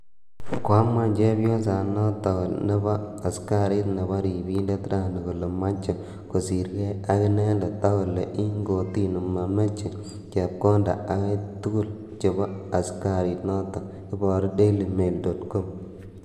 koamuan Chepyoset notok nebo "askarit neporindet" rani kole meche kosirkei ak inendet akole ing kortini mameche chepkondet akei tugul chepo askarit notok, Iboru DailyMail.com.